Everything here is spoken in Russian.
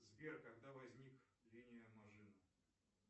сбер когда возник линия мажино